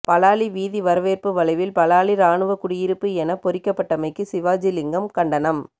பலாலி வீதி வரவேற்பு வளைவில் பலாலி இராணுவக்குடியிருப்பு எனப் பொறிக்கப்பட்டமைக்கு சிவாஜிலிங்கம் கண்டனம்